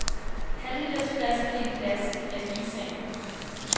Halvlitersflaskerne i plastic er lige sagen.